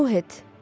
Aruhet.